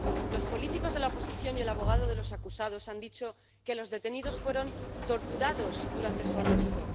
Los políticos de la oposición y el abogado de los acusados han dicho que los detenidos fueron torturados durante su arresto.